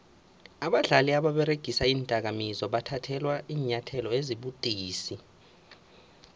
abadlali ababeregisa iindakamizwa bathathelwa iinyathelo ezibudisi